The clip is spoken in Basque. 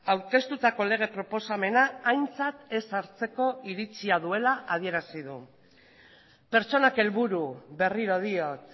aurkeztutako lege proposamena aintzat ez hartzeko iritzia duela adierazi du pertsonak helburu berriro diot